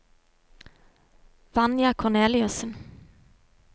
Vanja Korneliussen